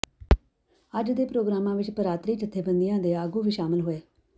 ਅੱਜ ਦੇ ਪ੍ਰੋਗਰਾਮਾਂ ਵਿਚ ਭਰਾਤਰੀ ਜਥੇਬੰਦੀਆਂ ਦੇ ਆਗੂ ਵੀ ਸ਼ਾਮਲ ਹੋਏ